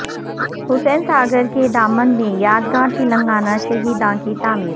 حسین ساگر کے دامن میں یادگار تلنگانہ شہیداں کی تعمیر